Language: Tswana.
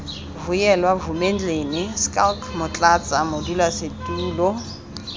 vuyelwa vumendlini schalk motlatsa modulasetulo